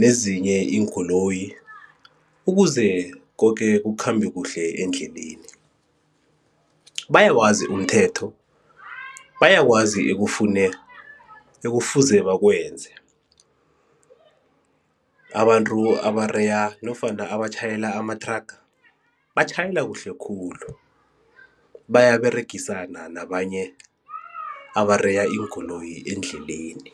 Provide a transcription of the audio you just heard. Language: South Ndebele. nezinye iinkoloyi ukuze koke kukhambe kuhle endleleni, bayawazi umthetho, bayakwazi ekufune ekufuze bakwenze abantu abareya nofana abatjhayela amathraga batjhayela kuhle khulu bayaberegisana nabanye abareya iinkoloyi endleleni.